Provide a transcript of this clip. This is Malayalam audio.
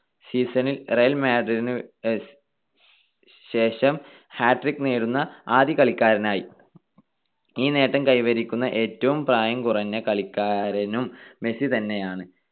season ൽ റിയൽ മാഡ്രിഡിന് ശേഷം hat trick നേടുന്ന ആദ്യ കളിക്കാരനായി. ഈ നേട്ടം കൈവരിക്കുന്ന ഏറ്റവും പ്രായം കുറഞ്ഞ കളിക്കാരനും മെസ്സി തന്നെയാണ്.